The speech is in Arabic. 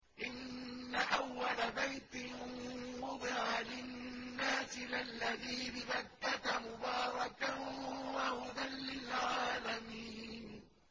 إِنَّ أَوَّلَ بَيْتٍ وُضِعَ لِلنَّاسِ لَلَّذِي بِبَكَّةَ مُبَارَكًا وَهُدًى لِّلْعَالَمِينَ